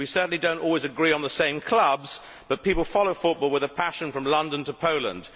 We certainly do not always agree on the same clubs, but people follow football with a passion, from London to Poland.